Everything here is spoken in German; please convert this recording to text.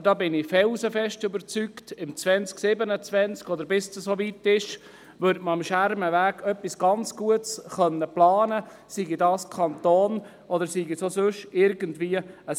Aber ich bin felsenfest davon überzeugt, dass man im Jahr 2027 oder bis es dann soweit ist am Schermenweg etwas ganz Gutes planen kann, sei es vom Kanton oder sei es von irgendeinem Gewerbe.